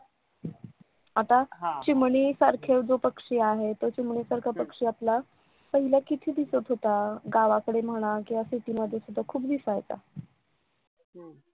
आता चिमणीसारखा जो पक्षी आहे तो चिमणीसारखा आपला पहिला किती दिसत हित गावाकडे म्हणा किंवा शेतीमध्ये पण खूप दिसायचा